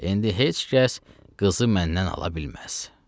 İndi heç kəs qızı məndən ala bilməz.